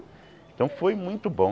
Então foi muito bom.